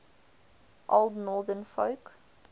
old northern folk